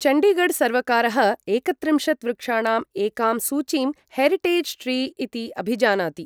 चण्डीगढ़सर्वकारः एकत्रिंशत् वृक्षाणाम् एकां सूचीं हेरिटेज् ट्री इति अभिजानाति।